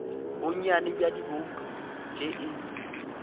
bonnyane bja dibouto tše e